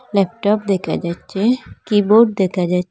laptop দেকা যাচ্চে keyboard দেকা যা--